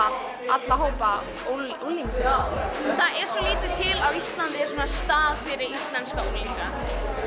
alla hópa unglingsins það er svo lítið til á Íslandi af svona stað fyrir íslenska unglinga